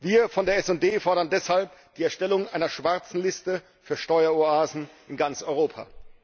Wir von der SD fordern deshalb die Erstellung einer schwarzen Liste für Steueroasen in ganz Europa.